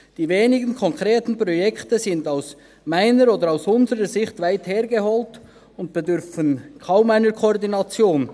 Die wenigen konkreten Projekte sind aus meiner, oder unserer Sicht, weit hergeholt und bedürfen kaum einer Koordination.